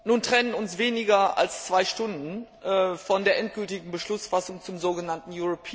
Nun trennen uns weniger als zwei Stunden von der endgültigen Beschlussfassung zum so genannten